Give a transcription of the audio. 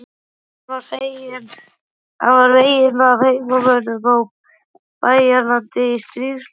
Hann var veginn af heimamönnum á Bæjaralandi í stríðslok.